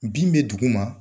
Bin be dugu ma